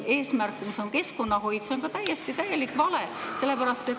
Eesmärk, mis on nagu keskkonnahoid, on ka täielik vale, sellepärast et …